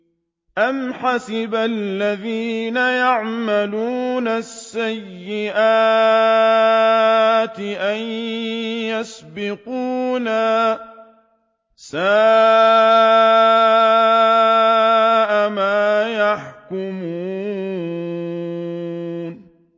أَمْ حَسِبَ الَّذِينَ يَعْمَلُونَ السَّيِّئَاتِ أَن يَسْبِقُونَا ۚ سَاءَ مَا يَحْكُمُونَ